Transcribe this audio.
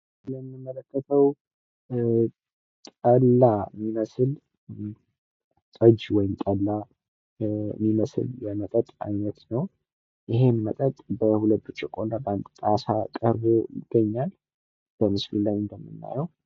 የምንመለከተው ጠላ የሚመስል ጠጅ ወይም ጠላ የሚመስል የመጠጥ አይነት ነው። ይሄም መጠጥ በሁለት ብርጭቆ እና በአንድ ጣሳ ቀርቦ ይገኛል በምስሉ ላይ እንደምናየው።